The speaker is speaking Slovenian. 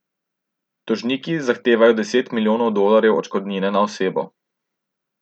Tožniki zahtevajo deset milijonov dolarjev odškodnine na osebo.